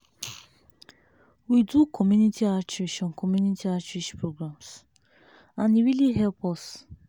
we do community outreach on community outreach programs and e really help us.